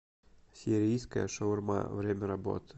сирийская шаурма время работы